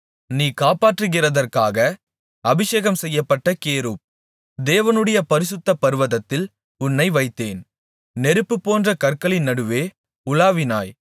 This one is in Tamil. நீ காப்பாற்றுகிறதற்காக அபிஷேகம்செய்யப்பட்ட கேருப் தேவனுடைய பரிசுத்த பர்வதத்தில் உன்னை வைத்தேன் நெருப்புபோன்ற கற்களின் நடுவே உலாவினாய்